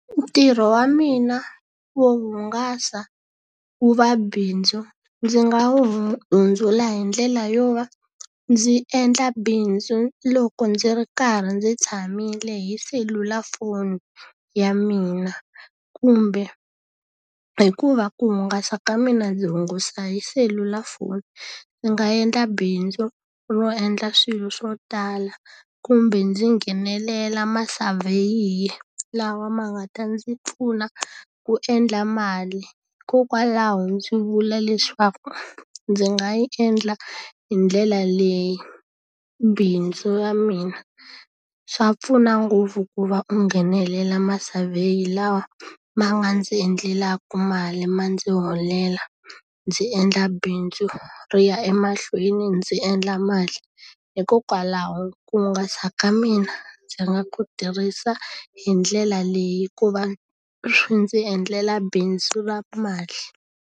Ntirho wa mina wo hungasa wu va bindzu, ndzi nga wu hundzula hi ndlela yo va ndzi endla bindzu loko ndzi ri karhi ndzi tshamile hi selulafoni ya mina. Kumbe hikuva ku hungasa ka mina ndzi hungusa hi selulafoni, ndzi nga endla bindzu ro endla swilo swo tala, kumbe ndzi nghenelela masavheyiye lawa ma nga ta ndzi pfuna ku endla mali. Hikokwalaho ndzi vula leswaku ndzi nga yi endla hi ndlela leyi bindzu ra mina. Swa pfuna ngopfu ku va u nghenelela ma-survey lawa ma nga ndzi endlelaka mali, ma ndzi holela, ndzi endla bindzu ri ya emahlweni, ndzi endla mali. Hikokwalaho ku hungasa ka mina ndzi nga ku tirhisa hi ndlela leyi ku va ndzi endlela bindzu ra mali.